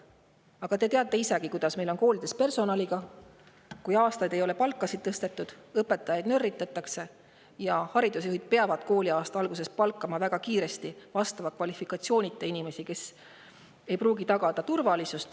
Aga te teate isegi, kuidas meil koolides personaliga on, kuidas aastaid ei ole palkasid tõstetud ja õpetajaid nörritatakse ning kuidas haridusjuhid peavad kooliaasta alguses väga kiiresti palkama ka vastava kvalifikatsioonita inimesi, kes ei pruugi tagada turvalisust.